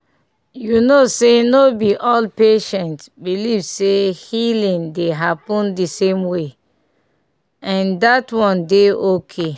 you know say no be all patients believe say healing dey happen the same way — and that one dey okay